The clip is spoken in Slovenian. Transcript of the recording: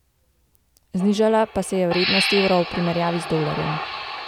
Znižala pa se je vrednost evra v primerjavi z dolarjem.